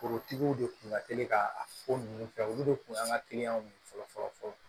Forotigiw de kun ka teli ka ko nunnu kɛ olu de kun y'an ka kiliyanw ye fɔlɔ fɔlɔ